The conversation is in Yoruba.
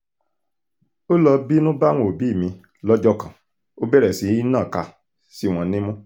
ó lọ́ọ́ bínú bá àwọn òbí mi lọ́jọ́ kan ó bẹ̀rẹ̀ sí í nàka sí wọn nímú